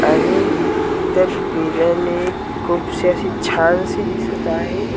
आणि त्या खूपशी अशी छानशी दिसत आहे.